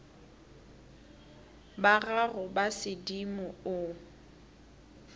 ba gago ba sedimo o